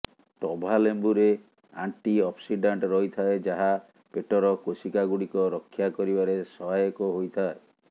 ଟଭାଲେମ୍ବୁରେ antioxidant ରହିଥାଏ ଯାହା ପେଟର କୋଶିକାଗୁଡ଼ିକ ରକ୍ଷା କରିବାରେ ସହାୟକ ହୋଇଥାଏ